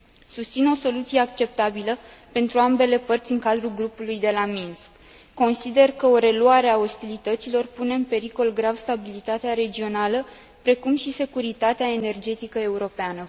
Susțin o soluție acceptabilă pentru ambele părți din cadrul Grupului de la Minsk. Consider că o reluare a ostilităților pune în pericol grav stabilitatea regională, precum și securitatea energetică europeană.